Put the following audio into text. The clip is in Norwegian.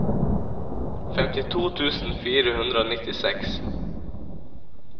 femtito tusen fire hundre og nittiseks